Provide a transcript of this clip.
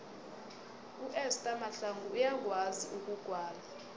uester mahlangu uyakwazi ukugwala